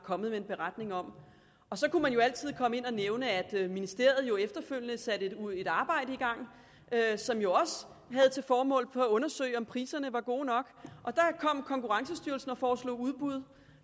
kommet med en beretning om så kunne man jo altid komme ind og nævne at ministeriet efterfølgende satte et arbejde i gang som jo også havde til formål at undersøge om priserne var gode nok og der kom konkurrencestyrelsen og foreslog udbud